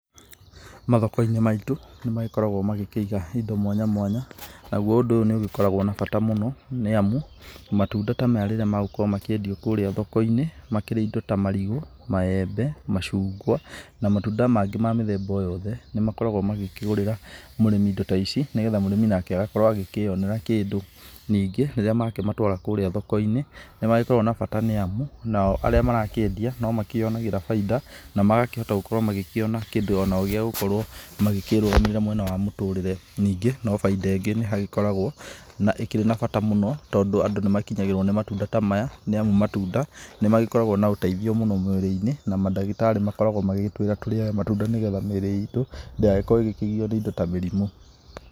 Mathoko-inĩ maitũ nĩmagĩkoragwo magĩkĩiga indo mwanya mwanya, naguo ũndũ ũyũ nĩũgĩkoragwo na bata mũno, nĩamu matunda ta maya rĩrĩa magũkorwo makĩendio kũrĩa thoko-inĩ, makĩria indo ta marigũ, maembe, macungwa na matunda mangĩ ma mĩthemba o yothe, nĩmakoragwo magĩkĩgũrĩra mũrĩmi indo ta ici nĩgetha mũrĩmi agakorwo agĩkĩyonera kĩndũ, ningĩ rĩrĩa makĩmatũara kũrĩa thoko-inĩ, nĩmagĩkoragwo na bata nĩamu nao arĩa marakĩendia nomakĩonagĩra baida na magakĩhota onao kũona kĩndũ gĩa gũkorwo magĩkĩrũgamĩrĩra mwena wa mũtũrĩre, ningĩ no baida ĩngĩ nĩhagĩkoragwo na ĩkĩrĩ na bata mũno tondũ andũ nĩmakinyagĩrwo nĩ matunda ta maya, nĩamũ matunda nĩmagĩkoragwo na ũteithio mũnene mwĩrĩ-inĩ, na mandagĩtarĩ makoragwo magĩgĩtwĩra tũrĩage matunda nĩgetha mĩrĩ itũ ndĩgagĩkorwo ĩgĩkĩgio nĩ indo ta mĩrimũ.